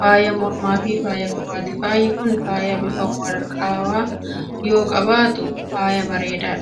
faaya mormaafi faaya qubaati. Faayi kun faaya bifa warqaawwaa yoo qabaatu faaya bareedudha.